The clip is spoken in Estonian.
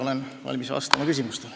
Olen valmis vastama küsimustele.